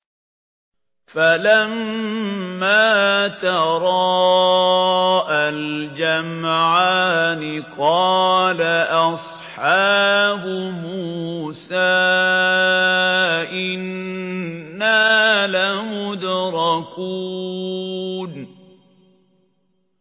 فَلَمَّا تَرَاءَى الْجَمْعَانِ قَالَ أَصْحَابُ مُوسَىٰ إِنَّا لَمُدْرَكُونَ